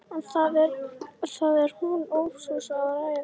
En það er hún ófús að ræða.